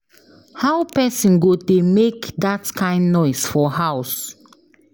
How person go dey make dat kin noise for house.